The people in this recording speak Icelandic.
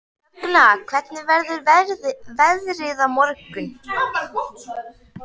Högna, hvernig verður veðrið á morgun?